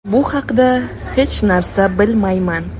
Bu haqda hech narsa bilmayman.